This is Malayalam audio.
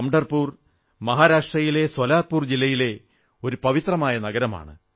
പംഢർപുർ മഹാരാഷ്ട്രയിലെ സോലാപുർ ജില്ലയിലെ ഒരു പവിത്രമായ നഗരമാണ്